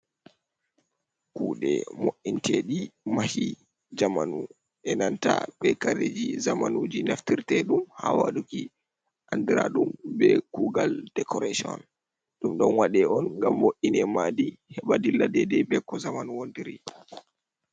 Kuɗee mo'inteɗi mahi zamanu, e nanta be kareji zamanuji naftirteɗum ha waɗuki, anɗiraɗum be kugal dekorashon. Ɗum don waɗe on ngam bo'ine maɗi. Heba ɗilla ɗeɗe be ko zamanu wontiri.